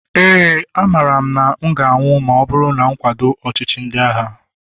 éè, amaara m na m ga-anwụ ma ọ bụrụ na m akwado ọchịchị ndị agha